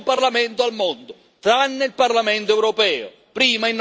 Nessun parlamento al mondo, tranne il Parlamento europeo.